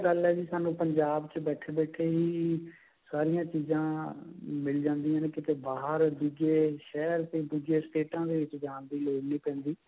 ਵਧੀਆ ਗੱਲ ਹੈ ਜੀ ਸਾਨੂੰ ਪੰਜਾਬ ਚ ਬੈਠੇ ਬੈਠੇ ਹੀ ਸਾਰਿਆ ਚੀਜਾਂ ਮਿਲ ਜਾਂਦਿਆ ਨੇ ਕਿਤੇ ਬਾਹਰ ਦੁੱਜੇ ਸ਼ਹਿਰ ਦੁੱਜੇ ਸਟੇਟਾ ਦੇ ਵਿੱਚ ਜਾਨ ਦੀ ਲੋੜ ਨਹੀਂ ਪੈਂਦੀ